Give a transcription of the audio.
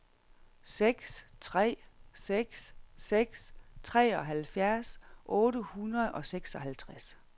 seks tre seks seks treoghalvfjerds otte hundrede og seksoghalvtreds